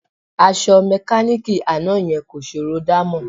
Aṣọ mẹkáníìkì àná yẹn kò ṣòró dámọ̀